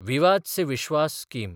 विवाद से विश्वास स्कीम